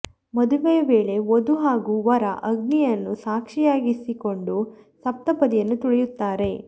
ಮದುವೆಯ ವೇಳೆ ವಧು ಹಾಗೂ ವರ ಅಗ್ನಿಯನ್ನು ಸಾಕ್ಷಿಯಾಗಿಸಿಕೊಂಡು ಸಪ್ತಪದಿಯನ್ನು ತುಳಿಯುತ್ತಾರೆ